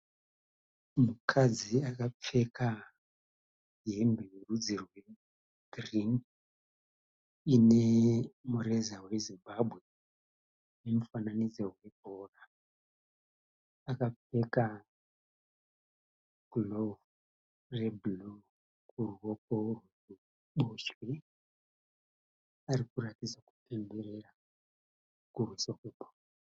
Mukadzi akapfeka hembe yerudzi rwegirini inemureza weZimbabwe nemufananidzi webhora. Akapfeka girovhu rebhuruu kuruoko rweruboshwe arikuratidza kupemberera kuuso kwake